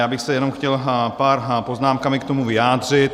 Já bych se jenom chtěl pár poznámkami k tomu vyjádřit.